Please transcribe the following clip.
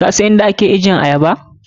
Kasan yadda ake ajiyar ayaba?